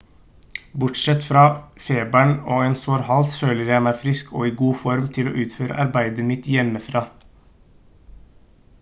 bortsett fra feberen og en sår hals føler jeg meg frisk og i god form til å utføre arbeidet mitt hjemmefra